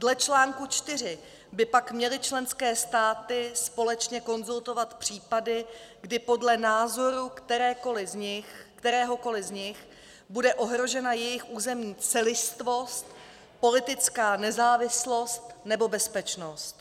Dle článku 4 by pak měly členské státy společně konzultovat případy, kdy podle názoru kteréhokoli z nich bude ohrožena jejich územní celistvost, politická nezávislost nebo bezpečnost.